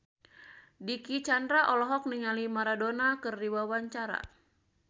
Dicky Chandra olohok ningali Maradona keur diwawancara